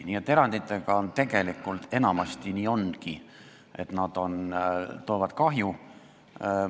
Nii et eranditega enamasti ongi nii, et nad tekitavad kahju.